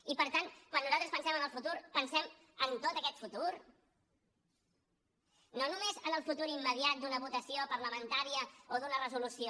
i per tant quan nosaltres pensem en el futur pensem en tot aquest futur no només en el futur immediat d’una votació parlamentària o d’una resolució